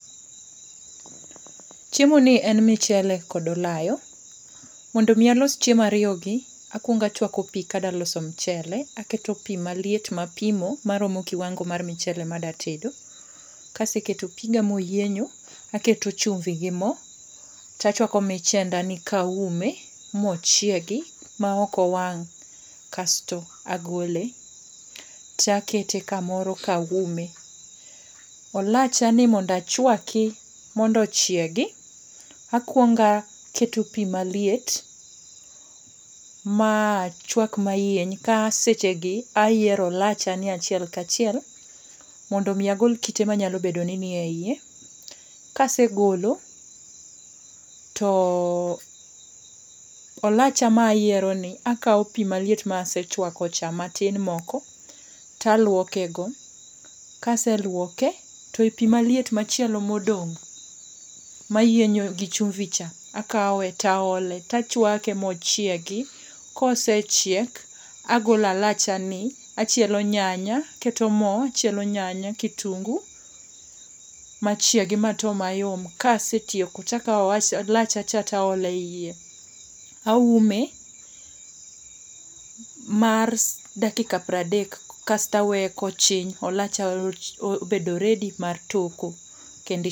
Chiemo ni en michele kod olayo, mondo mi alos chiemo ariyogi, akuongo achuako pi kadwa loso michele aketo pi maliet mapimo maromo kiwango mar michele madwa tedo. Ka aseketo piga ma oyienyo., aketo chumvi gi mo to achuako michendani kaume mochiegi maok owang' kasto agole. To akete kamoro kaume, olachani mondo achuaki, mondo ochiegi akuongo aketo pi maliet machuak mayieny kasechegi ayiero olachani achiel ka chiel mondo mi agol kite manyalo bedo ni ni eiye. Ka asegolo to olacha mayieroni akawo i maliet masechuakocha matin moko to aluokego ka aseluoke to pi maliet machielo modong' mayienyo gi chumvi cha, akawe to aole to achuake mochiegi kosechiek agolo alachani, achilo nyanya, aketo mo achielo nyanya kitungu machiegi mato mayom kasetieko to akawo olachacha to aole eiye, aume mar dakikapiero adek kasto aweye mkochiny olacha obedo ready mar toko kendo i